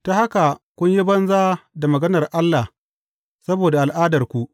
Ta haka kun yi banza da maganar Allah saboda al’adarku.